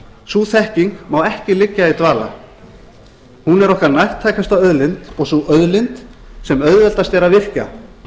sú þekking má ekki liggja í dvala hún er okkar nærtækasta auðlind og sú auðlind sem auðveldast er að virkja